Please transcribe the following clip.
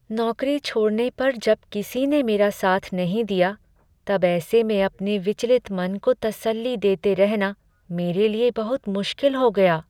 नौकरी छोड़ने पर जब किसी ने मेरा साथ नहीं दिया, तब ऐसे में अपने विचलित मन को तसल्ली देते रहना मेरे लिए बहुत मुश्किल हो गया।